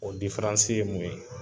O ye mun ye?